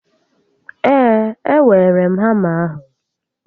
Ee, e weere m hama ahụ